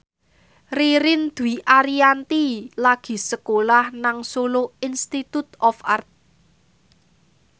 Ririn Dwi Ariyanti lagi sekolah nang Solo Institute of Art